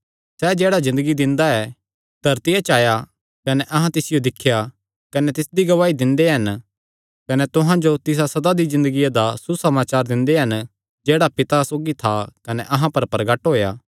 सैह़ जेह्ड़ा ज़िन्दगी दिंदा ऐ धरतिया च आया कने अहां तिसियो दिख्या कने तिसदी गवाही दिंदे हन कने तुहां जो तिसा सदा दी ज़िन्दगिया दा सुसमाचार दिंदे हन जेह्ड़ा पिता सौगी था कने अहां पर प्रगट होएया